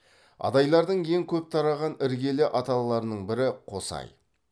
адайлардың ең көп тараған іргелі аталаларының бірі қосай